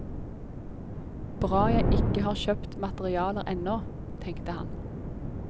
Bra jeg ikke har kjøpt materialer ennå, tenkte han.